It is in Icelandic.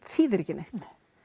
þýðir ekki neitt